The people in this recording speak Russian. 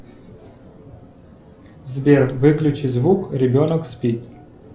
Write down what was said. сбер выключи звук ребенок спит